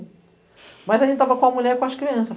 Mas a gente estava com a mulher e com as crianças.